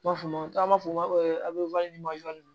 I b'a fɔ caman b'a fɔ n b'a fɔ av